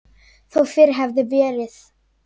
Þó fyrr hefði verið.